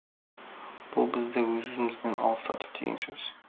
бұл бізді өз өзімізден алыстату деген сөз